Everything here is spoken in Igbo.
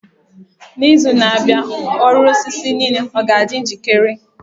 N'izu na-abịa, ọrụ osisi niile a ga-adị njikere?